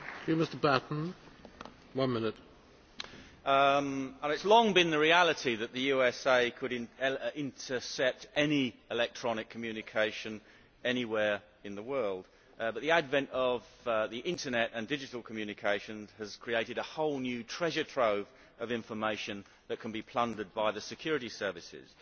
Mr President, it has long been the reality that the USA could intercept any electronic communication anywhere in the world but the advent of the Internet and digital communications has created a whole new treasure trove of information which can be plundered by the security services.